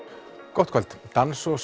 gott kvöld dans og